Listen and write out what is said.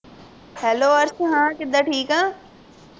hello Arsh ਹਾਂ ਕਿੱਦਾ ਠੀਕ ਆ